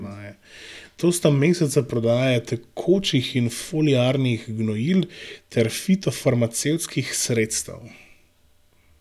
To sta meseca prodaje tekočih in foliarnih gnojil ter fitofarmacevtskih sredstev.